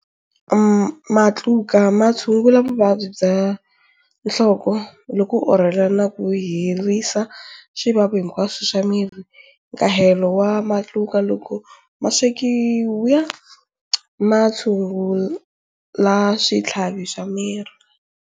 Matluka ma tshungula vuvabyi bya nhloko loko u orhela na ku herisa swivavi hinkwaswo swa miri. Nkahelo wa matluka loko ma swekiwa wu tshungula switlhavi swa miri.